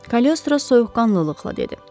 Kalyostro soyuqqanlılıqla dedi.